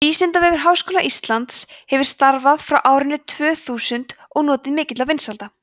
vísindavefur háskóla íslands hefur starfað frá árinu tvö þúsund og notið mikilla vinsælda